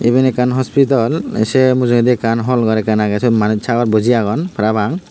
iben ekkan hospital ai se mujungedi ekkan hall gor ekkan age sut manuj sagor boji agon parapang.